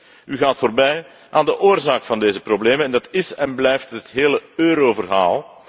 U gaat echter voorbij aan de oorzaak van deze problemen, en dat is en blijft het hele euroverhaal.